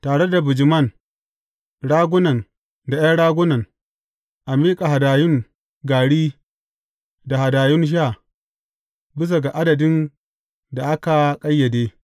Tare da bijiman, ragunan da ’yan raguna, a miƙa hadayun gari da hadayun sha, bisa ga adadin da aka ƙayyade.